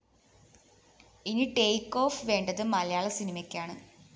ഇനി take off വേണ്ടത് മലയാള സിനിമയ്ക്കാണ്